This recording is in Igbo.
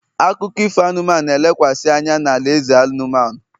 akụkọ ifo anụmanụ, na-elekwasị anya na alaeze anụmanụ